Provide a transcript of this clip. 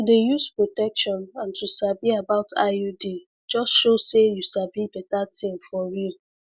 to dey use protection and to sabi about iud just show say you sabi better thing for real